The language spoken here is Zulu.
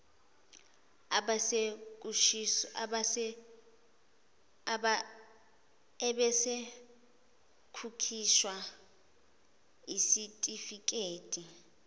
ebese kukhishwa isitifikedi